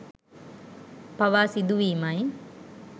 පවා සිදුවීමයි